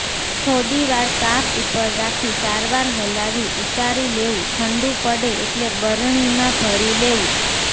થોડીવાર તાપ ઉપર રાખી સારવાર હલાવી ઉતારી લેવું ઠંડુ પડે એટલે બરણીમાં ભરી લેવું